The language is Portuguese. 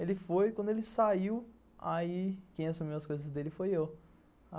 Ele foi, quando ele saiu, aí quem assumiu as coisas dele foi eu.